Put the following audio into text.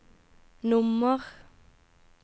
nummer